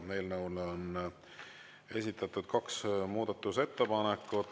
Eelnõu kohta on esitatud kaks muudatusettepanekut.